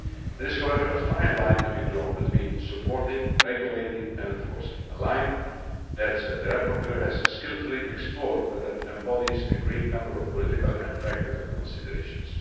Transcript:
There is, however, a fine line to be drawn between supporting, regulating and enforcing a line that the rapporteur has skilfully explored but that embodies a great number of political and practical considerations.